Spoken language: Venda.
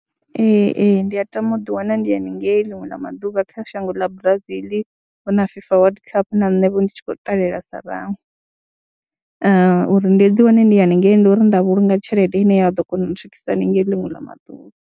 Ee, ee, ndi a tama u ḓiwana ndi haningei ḽiṅwe ḽa maḓuvha kha shango ḽa Brazil hu na FIFA Wworld Cup na nṋe vho ndi tshi khou ṱalela sa vhaṅwe uri ndi ḓiwane ndi haningei ndi uri nda vhulunga tshelede ine ya ḓo kona u ntswikisa haningei ḽiṅwe ḽa maḓuvha.